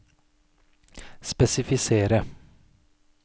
spesifisere